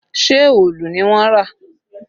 Ṣé òòlù ni wọ́n rà?